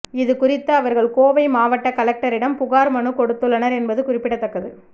இது குறித்து அவர்கள் கோவை மாவட்ட கலெக்டரிடம் புகார் மனு கொடுத்துள்ளனர் என்பது குறிப்பிடத்தக்கது